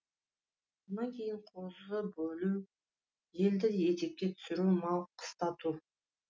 сонан кейін қозы бөлу елді етекке түсіру мал қыстату